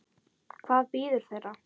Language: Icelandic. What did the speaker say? Hvað bíður þeirra?